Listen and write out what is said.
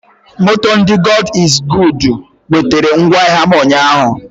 Moto ndị God iz goodu wetera ngwa ahịa m ụnyaahụ